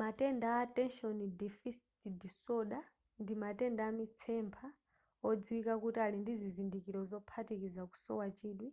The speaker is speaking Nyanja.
matenda a attention deficit disorder ndi matenda amitsempha odziwika kuti ali ndi zizindikiro zophatikiza kusowa chidwi